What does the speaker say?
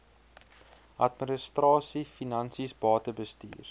administrasie finansies batebestuur